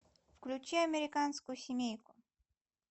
включай американскую семейку